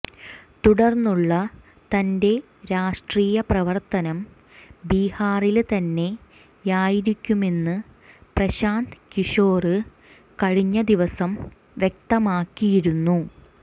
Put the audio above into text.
തുടര്ന്നുള്ള തന്റെ രാഷ്ട്രീയ പ്രവര്ത്തനം ബീഹാറില് തന്നെയായിരിക്കുമെന്ന് പ്രശാന്ത് കിഷോര് കഴിഞ്ഞ ദിവസം വ്യക്തമാക്കിയിരുന്നു